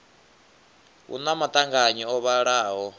hu na maṱanganyi o vhalaho